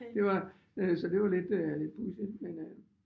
Det var øh så det var lidt øh lidt pudsigt men øh